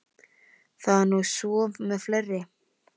Það er nú svo með fleiri.